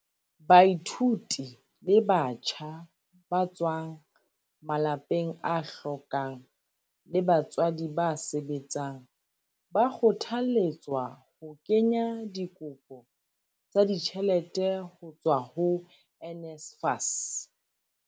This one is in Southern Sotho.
Baithuti le batjha ba tswang malapeng a hlokang le ba batswadi ba sebetsang ba kgothalletswa ho kenya dikopo tsa ditjhelete ho tswa ho NSFAS.